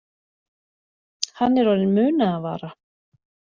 Hann er orðinn munaðarvara